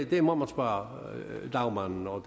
må man spørge lagmanden og